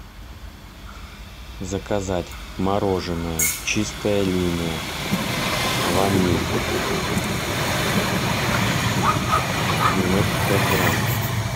заказать мороженое чистая линия ваниль девяносто пять грамм